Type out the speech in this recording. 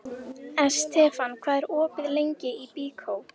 Estefan, hvað er opið lengi í Byko?